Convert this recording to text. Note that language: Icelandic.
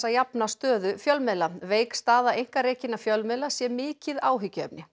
að jafna stöðu fjölmiðla veik staða einkarekinna fjölmiðla sé mikið áhyggjuefni